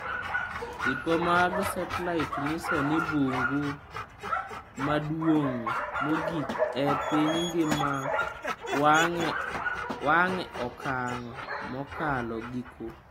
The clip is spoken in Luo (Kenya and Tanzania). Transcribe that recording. Tipo mag setlait nyiso ni bungu maduong' mogik e piny ngima wang' e okang' mokalo giko.